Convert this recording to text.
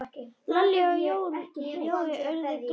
Lalli og Jói urðu glaðir.